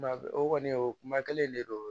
Kuma o kɔni o kuma kelen de don